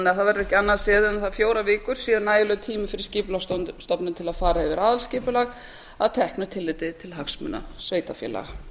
það verði ekki annað séð en þær fjórar vikur séu nægilegur tími fyrir skipulagsstofnun til að fara yfir aðalskipulag að teknu tilliti til hagsmuna sveitarfélaga